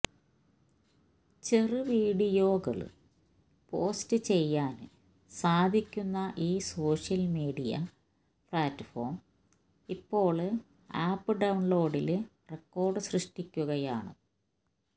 ചെറുവീഡിയോകള് post ചെയ്യാന് സാധിക്കുന്ന ഈ സോഷ്യല് മീഡിയ പ്ലാറ്റ്ഫോം ഇപ്പോള് ആപ്പ് ഡൌണ്ലോഡില് റെക്കോഡ് സൃഷ്ടിക്കുകയാണ്